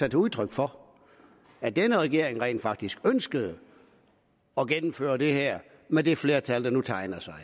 et udtryk for at denne regering rent faktisk ønskede at gennemføre det her med det flertal der nu tegnede sig